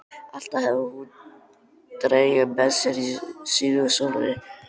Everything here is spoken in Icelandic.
Alltaf hafði hún drenginn með sér á sínu slóri.